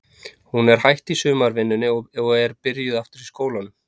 Hún er hætt í sumarvinnunni og er byrjuð aftur í skólanum.